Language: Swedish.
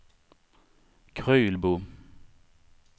Krylbo